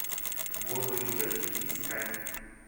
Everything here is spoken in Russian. голые тети искать